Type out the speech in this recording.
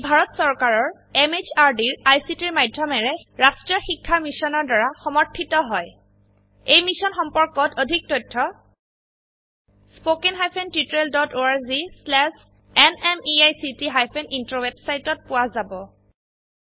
ই ভাৰত চৰকাৰৰ MHRDৰ ICTৰ মাধয়মেৰে ৰাস্ত্ৰীয় শিক্ষা মিছনৰ দ্ৱাৰা সমৰ্থিত হয় এই মিশ্যন সম্পৰ্কত অধিক তথ্য spoken hyphen tutorial dot org slash এনএমইআইচিত হাইফেন ইন্ট্ৰ ৱেবচাইটত পোৱা যাব